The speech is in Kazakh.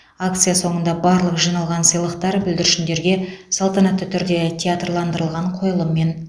акция соныңда барлық жиналған сыйлықтар бүлдіршіндерге салтанатты түрде театрландырылған қойылыммен